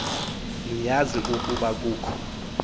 niyazi ukuba kukho